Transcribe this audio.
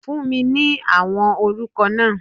Fún mi ní àwọn orúkọ náà!